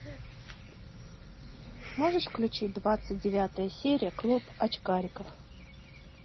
можешь включить двадцать девятая серия клуб очкариков